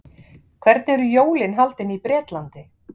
hvernig eru jólin haldin í bretlandi